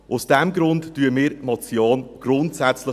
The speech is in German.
Deshalb unterstützen wir die Motion grundsätzlich.